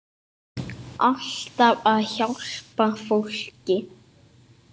Alltaf að hjálpa fólki.